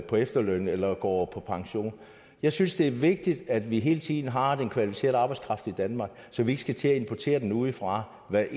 på efterløn eller går på pension jeg synes det er vigtigt at vi hele tiden har den kvalificerede arbejdskraft i danmark så vi ikke skal til at importere den udefra hvad